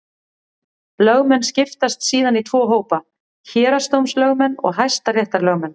Lögmenn skiptast síðan í tvo hópa: Héraðsdómslögmenn og hæstaréttarlögmenn.